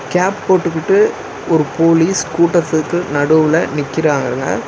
Gap போட்டுக்குட்டு ஒரு police கூட்டத்துக்கு நடுவுல நிக்கிறான்ங்க.